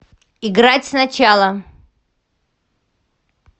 играть сначала